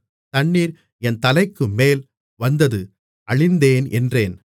தண்ணீர் என் தலைக்குமேல் வந்தது அழிந்தேன் என்றேன்